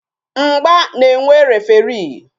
Mgba na-enwe referii